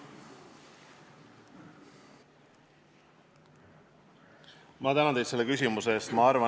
Ma tänan teid selle küsimuse eest!